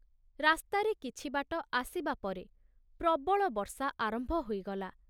ରାସ୍ତାରେ କିଛିବାଟ ଆସିବା ପରେ ପ୍ରବଳ ବର୍ଷା ଆରମ୍ଭ ହୋଇଗଲା।